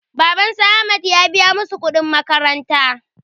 Baban su ahmad ya biya masu kuɗin makaranta